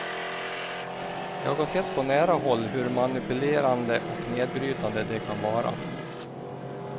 Jag har sett på nära håll hur manipulerande och nedbrytande de kan vara.